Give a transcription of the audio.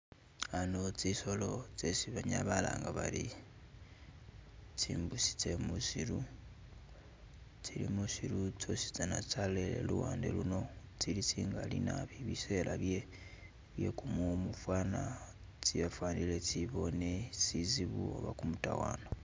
Ano tsi solo tsesi banyala balanga bari tsi mbusi tse musiru tsili musiru tsosi tsana tsalolele luwande luno, tsili tsi ngali naabi bisela byekumumu fwana tsafanile tsibone sizibu oba kumutawana.